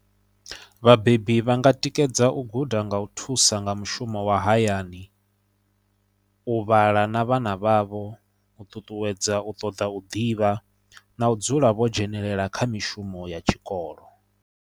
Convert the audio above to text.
Vhabebi vha nga tikedza u guda nga u thusa nga mushumo wa hayani, u vhala na vhana vhavho, u ṱuṱuwedza u ṱoḓa u ḓivha na u dzula vho dzhenelela kha mishumo ya tshikolo.